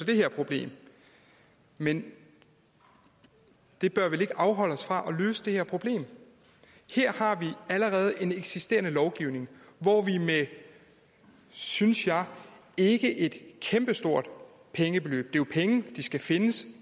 det her problem men det bør vel ikke afholde os fra at løse det her problem her har vi allerede en eksisterende lovgivning hvor vi med et synes jeg ikke kæmpestort pengebeløb jo penge der skal findes